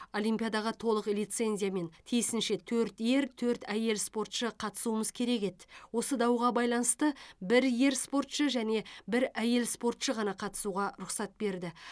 олимпиадаға толық лицензиямен тиісінше төрт ер төрт әйел спортшы қатысуымыз керек еді осы дауға байланысты бір ер спортшы және бір әйел спортшы ғана қатысуға руқсат берді